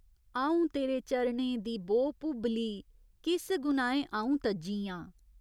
औं तेरे चरणें दी बो भुब्बली किस गुनाहें औं तज्जी आं।